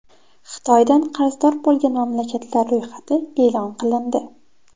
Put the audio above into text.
Xitoydan qarzdor bo‘lgan mamlakatlar ro‘yxati e’lon qilindi.